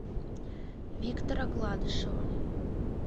виктора гладышева